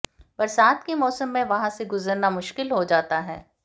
बरसात के मौसम में वहां से गुजरना मुश्किल हो जाता है